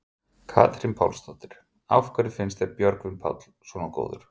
Katrín Pálsdóttir: Af hverju finnst þér Björgvin Páll svona góður?